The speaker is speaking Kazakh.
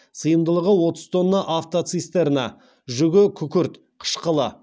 сыймдылығы отыз тонна автоцистерна жүгі күкірт қышқылы